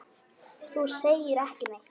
Þú segir ekki neitt.